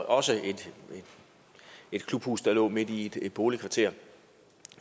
også et klubhus der lå midt i et boligkvarter